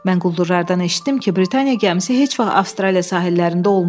Mən quldurlardan eşitdim ki, Britaniya gəmisi heç vaxt Avstraliya sahillərində olmayıb.